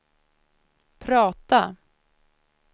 prata